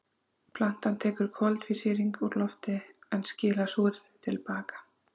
Plantan tekur koltvísýring úr lofti en skilar súrefni til baka.